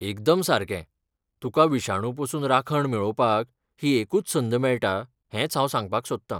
एकदम सारकें, तुका विशाणू पसून राखण मेळोवपाक ही एकूच संद मेळटा हेंच हांव सांगपाक सोदता.